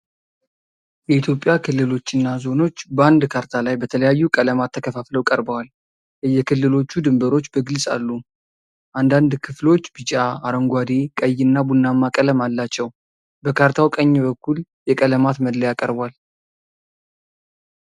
የኢትዮጵያ ክልሎችና ዞኖች በአንድ ካርታ ላይ በተለያዩ ቀለማት ተከፋፍለው ቀርበዋል። የየክልሎቹ ድንበሮች በግልጽ አሉ፣ አንዳንድ ክፍሎች ቢጫ፣ አረንጓዴ፣ ቀይና ቡናማ ቀለም አላቸው። በካርታው ቀኝ በኩል የቀለማት መለያ ቀርቧል።